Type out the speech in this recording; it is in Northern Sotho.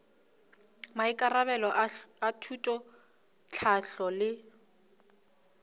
maikarabelo a thuto tlhahlo le